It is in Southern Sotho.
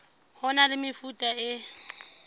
ho na le mefuta e